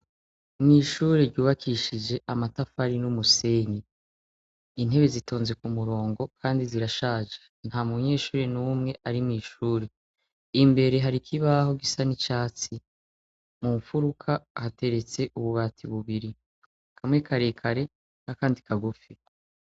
Mw'ishuri ryubakishije amatafari n'umuseni intebe zitonze ku murongo, kandi zirashaje nta munyeshuri n'umwe ari mw'ishuri imbere hariko ibaho gisa n'icatsi mu mfuruka hateretse ububati bubiri kamwe karekare na, kandi kagufi.